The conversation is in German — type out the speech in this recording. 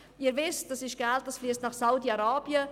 Sie wissen, dieses Geld fliesst nach Saudi-Arabien.